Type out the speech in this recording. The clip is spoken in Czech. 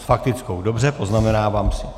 S faktickou, dobře, poznamenávám si.